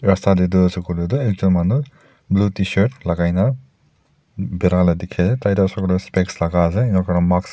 rasta tae tu ase koilae tu ekjon manu blue tshirt lakai na bira dikhae tai tu hoishey koila spects lakaase